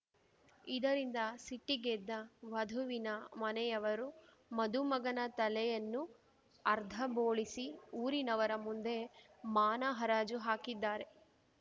ಇದರಿಂದ ಸಿಟ್ಟಿಗೆದ್ದ ವಧುವಿನ ಮನೆಯವರು ಮದುಮಗನ ತಲೆಯನ್ನು ಅರ್ಧಬೋಳಿಸಿ ಊರಿನವರ ಮುಂದೆ ಮಾನ ಹರಾಜು ಹಾಕಿದ್ದಾರೆ